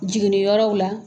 Jiginniyɔrɔw la